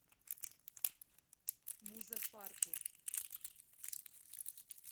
музаффарпур